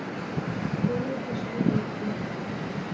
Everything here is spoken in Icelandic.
Góður gestur, Árni.